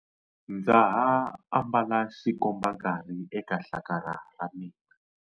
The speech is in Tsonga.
Ndza ha ambala xikombankarhi eka hlakala ra mina.